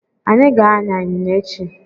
Anyị ga-an̄ya ịnyịnya echi.